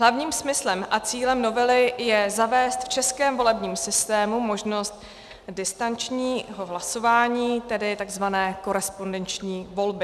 Hlavním smyslem a cílem novely je zavést v českém volebním systému možnost distančního hlasování, tedy tzv. korespondenční volby.